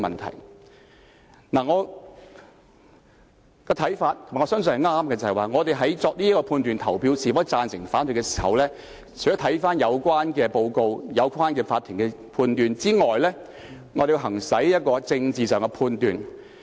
就我個人的看法——我也相信我的看法正確——議員在決定贊成或反對的時候，除了要審視有關報告和法庭判決外，還要作出政治判斷。